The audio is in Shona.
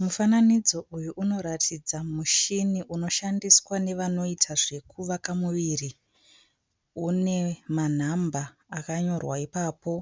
Mufananidzo uyu unoratidza mushini unoshandiswa nevanoita zvekuvaka muviri. Une manhamba akanyorwa ipapo